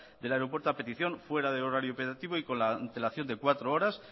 del aeropuerto a petición fuera del horario operativo y con la antelación de cuatro horas